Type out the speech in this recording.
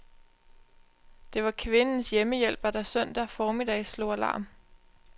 Det var kvindens hjemmehjælper, der søndag formiddag slog alarm.